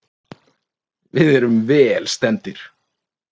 Við erum vel stemmdir.